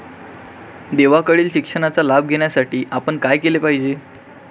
देवाकडील शिक्षणाचा लाभ घेण्यासाठी आपण काय केले पाहिजे?